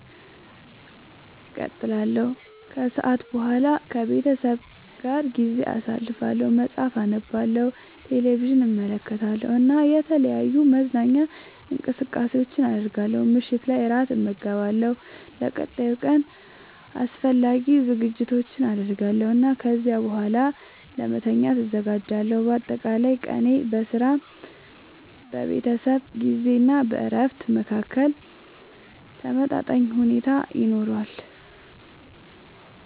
እቀጥላለሁ። ከሰዓት በኋላ ከቤተሰቤ ጋር ጊዜ አሳልፋለሁ፣ መጽሐፍ አነባለሁ፣ ቴሌቪዥን እመለከታለሁ እና የተለያዩ መዝናኛ እንቅስቃሴዎችን አደርጋለሁ። ምሽት ላይ እራት እመገባለሁ፣ ለቀጣዩ ቀን አስፈላጊ ዝግጅቶችን አደርጋለሁ እና ከዚያ በኋላ ለመተኛት እዘጋጃለሁ። በአጠቃላይ ቀኔ በሥራ፣ በቤተሰብ ጊዜ እና በእረፍት መካከል ተመጣጣኝ ሁኔታ ይኖረዋል።